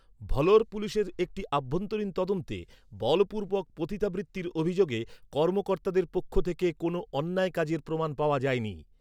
Vlora পুলিশের একটি অভ্যন্তরীণ তদন্তে, বলপূর্বক পতিতাবৃত্তির অভিযোগে কর্মকর্তাদের পক্ষ থেকে কোনও অন্যায় কাজের প্রমাণ পাওয়া যায়নি।